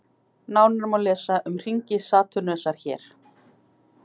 Nánar má lesa um hringi Satúrnusar hér.